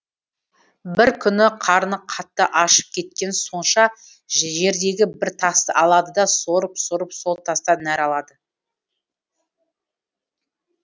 бір күні қарны қатты ашып кеткені сонша жердегі бір тасты алады да сорып сорып сол тастан нәр алады